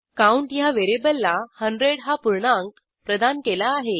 count ह्या व्हेरिएबलला 100 हा पूर्णांक प्रदान केला आहे